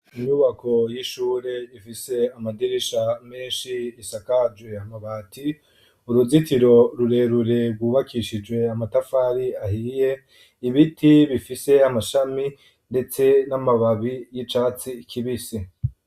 Imyubako y'ishure ,ifise amadirisha menshi isakaje amabati ,uruzitiro rurerure rwubakishijwe amatafari ahiye, ibiti bifise amashami ndetse n'amababi y'icatsi kibisi.